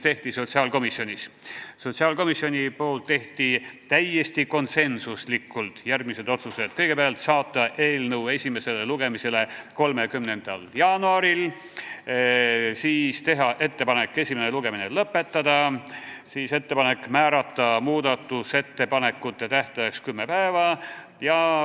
Sotsiaalkomisjon langetas täiesti konsensuslikult järgmised otsused: kõigepealt, saata eelnõu esimesele lugemisele 30. jaanuariks, teha ettepanek esimene lugemine lõpetada ja määrata muudatusettepanekute tähtajaks kümme päeva.